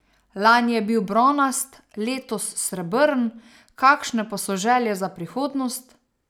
Lani je bil bronast, letos srebrn, kakšne pa so želje za prihodnost?